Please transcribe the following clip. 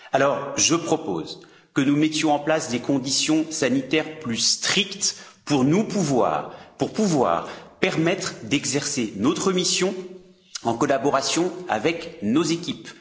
Alors, je propose que nous mettions en place des conditions sanitaires plus strictes pour nous permettre d'exercer notre mission en collaboration avec nos équipes.